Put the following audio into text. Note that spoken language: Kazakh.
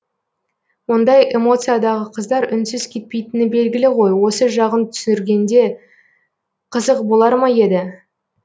ондай эмоциядағы қыздар үнсіз кетпейтіні белгілі ғой осы жағын түсіргенде қызық болар ма еді